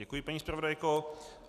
Děkuji, paní zpravodajko.